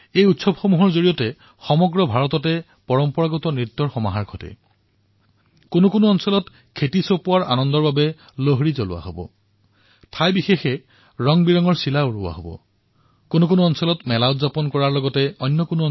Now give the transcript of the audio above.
এই উৎসৱৰ সময়চোৱাত ভাৰতত কোনো ঠাইত পাৰম্পৰিক নৃত্যৰ ৰং পৰিলক্ষিত হব কোনো ঠাইত শস্য চপোৱাৰ আনন্দত লোহৰী দাহন কৰা হব কোনো ঠাইত আকাশত ৰংবিৰঙী চিলা দেখিবলৈ পোৱা যাব কোনো ঠাইত খেল কোনো ঠাইত তিল গুড় খোৱা হব